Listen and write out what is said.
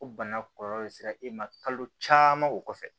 O bana kɔlɔlɔ sera e ma kalo caman o kɔfɛ